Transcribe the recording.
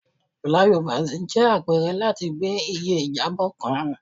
Flyovers jẹ apẹrẹ lati gbe iye ijabọ kan